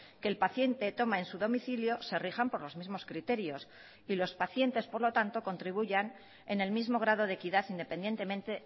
que el paciente toma en su domicilio se rijan por los mismos criterios y los pacientes por lo tanto contribuyan en el mismo grado de equidad independientemente